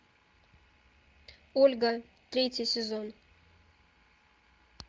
ольга третий сезон